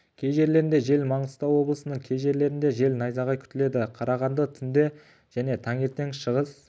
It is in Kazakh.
кей жерлерінде жел маңғыстау облысының кей жерлерінде жел найзағай күтіледі қарағанды түнде және таңертең шығыс